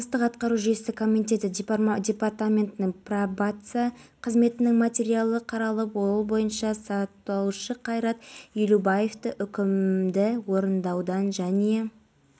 бұл туралы бақыт сұлтанов хабарлады табыстың басым бөлігі салықтан түскен нәтижесінде ұлттық қор қаражаты әлдеқайда аз